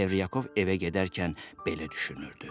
Çevryakov evə gedərkən belə düşünürdü.